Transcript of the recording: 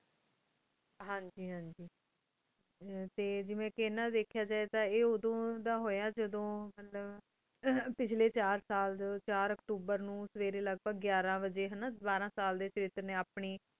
ਹਨ ਜੀ ਹਨ ਜੀ ਟੀ ਜੇਵੀ ਇਨਾ ਡੀ ਧ੍ਖਾ ਜੇ ਤਾਂ ਆਯ ਉਦੁਨ ਹੂਯ ਜਾਦੁਨ ਮਤਲਬ ਪੇਚ੍ਲ੍ਯ ਚਾਰ ਸਾਲ ਚਾਰ ਅਕਤੂਬਰ ਨੂ ਸਵੇਰੀ ਲਗ੍ਬ੍ਘ ਘ੍ਯਾਰਾ ਬਾਜੀ ਹਾਨਾ ਬਾਰਾ ਸਾਲ ਡੀ ਥਾਤਰ ਨੀ ਆਪਣੀ